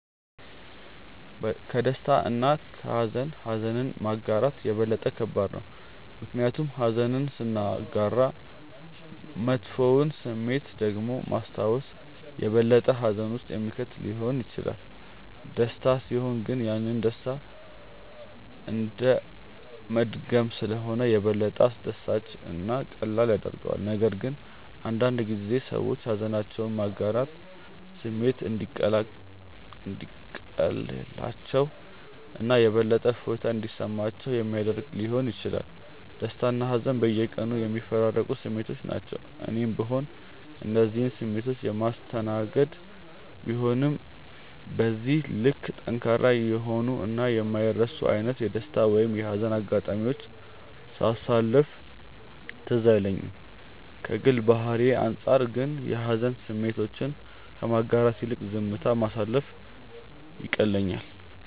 ከደስታ እና ከሃዘን ኀዘንን ማጋራት የበለጠ ከባድ ነው። ምክንያቱም ኀዘንን ስናጋራ መጥፎውን ስሜት ደግሞ ማስታወስ የበለጠ ሀዘን ውስጥ የሚከት ሊሆን ይችላል። ደስታ ሲሆን ግን ያንን ደስታ እንደመድገም ስለሆነ የበለጠ አስደሳች እና ቀላል ያደርገዋል፤ ነገር ግን አንዳንድ ጊዜ ሰዎች ሃዘናቸውን ማጋራት ስሜቱ እንዲቀልላቸው እና የበለጠ እፎይታ እንዲሰማቸው ሚያደረግ ሊሆን ይችላል። ደስታና ሀዘን በየቀኑ የሚፈራረቁ ስሜቶች ናቸው። እኔም ብሆን እነዚህን ስሜቶች የማስተናገድ ቢሆንም በዚህ ልክ ጠንካራ የሆኑ እና የማይረሱ አይነት የደስታ ወይም የሀዘን አጋጣሚዎችን ሳሳለፍ ትዝ አይለኝም። ከግል ባህሪዬ አንጻር ግን የሀዘን ስሜቶችን ከማጋራት ይልቅ ዝምታ ማሳለፍ ይቀለኛል።